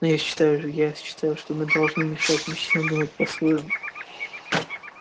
но я считаю я считаю что мы должны мешать мужчинам думать по своему